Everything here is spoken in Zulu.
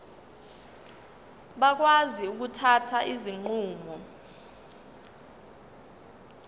bakwazi ukuthatha izinqumo